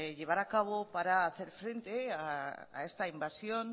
llevar a cabo para hacer frente a esta invasión